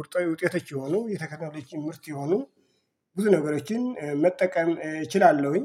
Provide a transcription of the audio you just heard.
ውርጣዊ ውጤቶች የሆኑ የቴክኖሎጂ ምርት የሆኑ ብዙ ነገሮችን መጠቀም እችላለሁኝ።